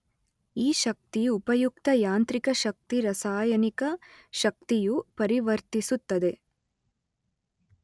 ಈ ಶಕ್ತಿ ಉಪಯುಕ್ತ ಯಾಂತ್ರಿಕ ಶಕ್ತಿ ರಾಸಾಯನಿಕ ಶಕ್ತಿಯು ಪರಿವರ್ತಿಸುತ್ತದೆ